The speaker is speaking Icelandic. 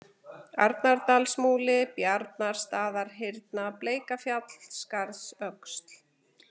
Arnardalsmúli, Bjarnastaðahyrna, Bleikafjall, Skarðsöxl